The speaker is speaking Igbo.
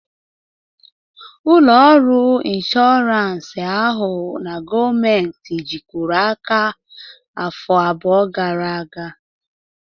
Ụlọ ọrụ inshọransị ahụ na gọọmentị jikọrọ aka afọ abụọ gara aga